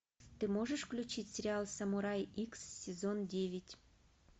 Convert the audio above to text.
ты можешь включить сериал самурай икс сезон девять